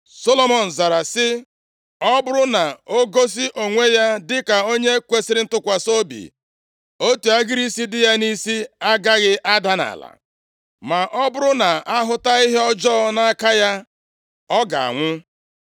Solomọn zara sị, “Ọ bụrụ na o gosi onwe ya dịka onye kwesiri ntụkwasị obi, otu agịrị isi dị ya nʼisi agaghị ada nʼala, ma ọ bụrụ na a hụta ihe ọjọọ na nʼaka ya, ọ ga-anwụ.”